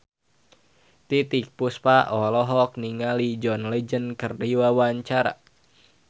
Titiek Puspa olohok ningali John Legend keur diwawancara